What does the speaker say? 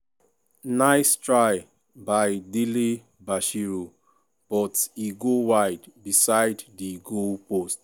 nice try by dele-bashiru but e go wide beside di goalpost.